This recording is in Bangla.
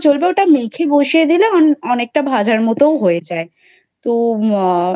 চলবে ওটা মেখে বসিয়ে দিলেও অনেকটা ভাজার মতো হয়ে যায় তো আহ